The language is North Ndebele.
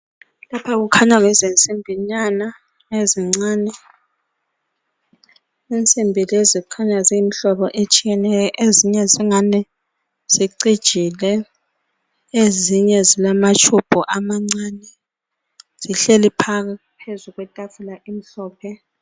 Lapha. kukhanya yizinsimbinyana ezincane. Insimbi lezi zikhanya ziyimihlobo etshiyeneyo. Ezinye zingani zciijile. njalo ezinye zilamatshubhu amancane. Zihlezi phezu kwetafula amhlophe..